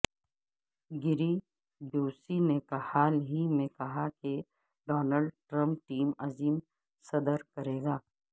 گیری بیوسی نے حال ہی میں کہا کہ ڈونالڈ ٹرم ٹیم عظیم صدر کرے گا